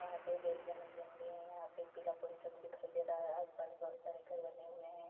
यहाँ पे एक ए.टी.एम. भी है यहाँ पे एक पीला पोस्टर दिखाई दे रहा है आस-पास बहुत सारे घर बने हुए हैं।